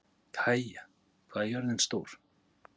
Kaía, hvað er jörðin stór?